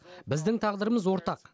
біздің тағдырымыз ортақ